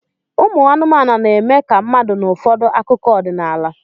Ụmụ anụmanụ na-eme ka mmadụ n'ụfọdụ akụkọ ọdịnala